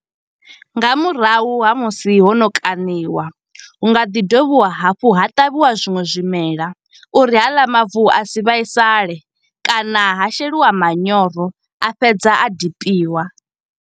Nga murahu ha musi ho no kaṋiwa, hu nga ḓi dovhiwa hafhu ha ṱavhiwa zwiṅwe zwimela uri haḽa mavu, a si vhaisale. Kana ha sheliwa manyoro a fhedza a dipiwa.